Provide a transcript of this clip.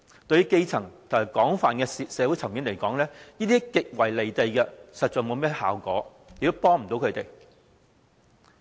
對於基層和廣泛的社會階層來說，這是極為"離地"的，實在不會產生甚麼效果，亦幫助不到他們。